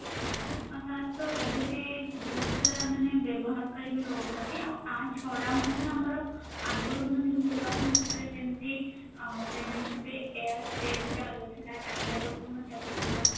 ଆପଣଙ୍କର ତ ବହୁତସାରା ବ୍ୟବହାରକାରି ବି ରହୁଛନ୍ତି ମଧ୍ୟ ଆଗରୁ ଯେମିତି Airtel ଚାଲୁଥିଲା tata Docomo ଚାଲୁଥିଲା